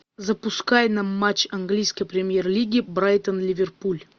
запускай нам матч английской премьер лиги брайтон ливерпуль